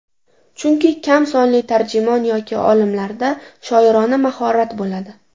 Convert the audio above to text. Chunki kam sonli tarjimon yoki olimlarda shoirona mahorat bo‘ladi.